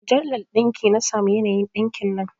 A mujallar ɗinki na samo yanayin ɗinkin nan